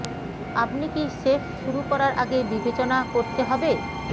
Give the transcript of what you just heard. আপনি কি শেভ শুরু করার আগে বিবেচনা করতে হবে